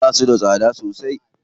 Basu da tsada sosai.